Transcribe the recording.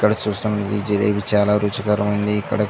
ఇక్కడ చూసిన ఈ జిలేబి చాలా రుచికరమైనది.ఇక్కడ --